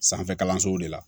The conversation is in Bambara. Sanfɛ kalansow de la